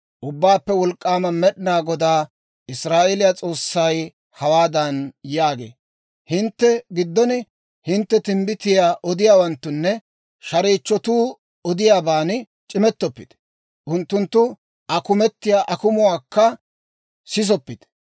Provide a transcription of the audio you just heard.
«Ubbaappe Wolk'k'aama Med'inaa Goday, Israa'eeliyaa S'oossay hawaadan yaagee; ‹Hintte giddon hintte timbbitiyaa odiyaawanttunne shareechchotuu odiyaaban c'imettoppite. Unttunttu akumetiyaa akumuwaakka sisoppite.